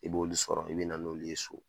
I b'olu sɔrɔ, i bɛ na n'olu ye so.